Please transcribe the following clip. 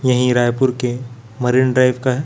यहीं रायपुर के marine drive का।